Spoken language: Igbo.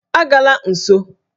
A gala nso!